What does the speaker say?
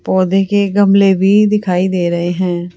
पौधे के गमले भी दिखाई दे रहे हैं।